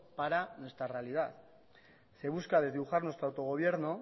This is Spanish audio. para nuestra realidad se busca desdibujar nuestro autogobierno